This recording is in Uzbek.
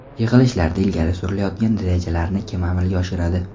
Yig‘ilishlarda ilgari surilayotgan rejalarni kim amalga oshiradi?